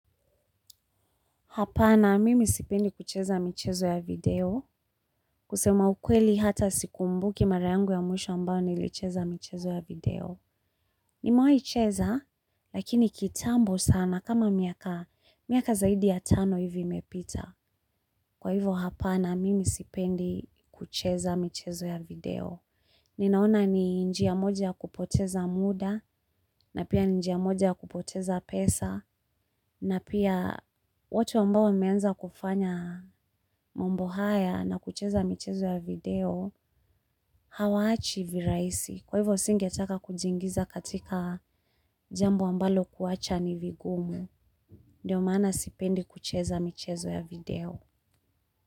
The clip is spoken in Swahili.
Hapana, mimi sipendi kucheza michezo ya video. Kusema ukweli hata sikumbuki marayangu ya mwisho ambao nilicheza michezo ya video. Nime waicheza, lakini kitambo sana kama miaka zaidi ya tano hivi imepita. Kwa hivyo, hapana, mimi sipendi kucheza michezo ya video. Ninaona ni njia moja ya kupoteza muda, na pia ni njia moja ya kupoteza pesa, na pia watu ambao wameenza kufanya mambo haya na kucheza michezo ya video hawaachi viraisi kwa hivyo singetaka kujiingiza katika jambo ambalo kuacha ni vigumu ndio maana sipendi kucheza michezo ya video.